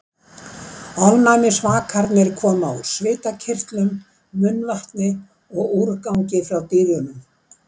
Ofnæmisvakarnir koma úr svitakirtlum, munnvatni og úrgangi frá dýrunum.